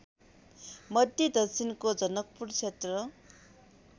मध्यदक्षिणको जनकपुरक्षेत्र